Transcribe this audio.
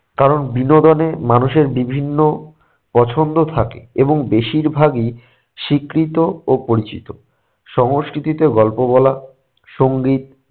কারণ বিনোদনে মানুষের বিভিন্ন পছন্দ থাকে এবং বেশির ভাগই স্বীকৃত ও পরিচিত। সংস্কৃতিতে গল্প বলা, সঙ্গীত